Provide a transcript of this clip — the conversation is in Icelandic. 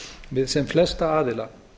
við sem flesta aðila